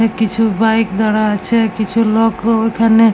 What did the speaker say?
অনেক কিছু বাইক দাঁড়া আছে কিছু লোক ও ওইখানে--